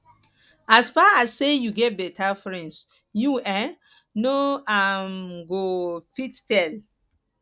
as far as sey you get beta friends you um no um go fit fail